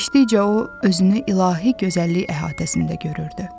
Keçdikcə o özünü ilahi gözəllik əhatəsində görürdü.